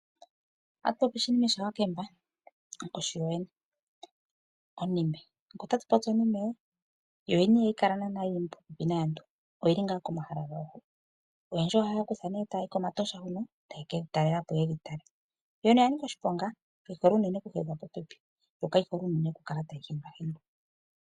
Otatupopi shinime sha Wakemba onkoshi yoyene ,Onime. Ngele otatu popi onime yoyen ihayi Kala nande yili popepi naantu oyili ngaa komahala hono . Oyendji oha yayi nee komahala gono ta ye keyitalelapo no taye kedhitala. Yo yene oya nika oshiponga kayihole unene oku hedhwa popepi yo kayihole unene okukala tayi hindwa.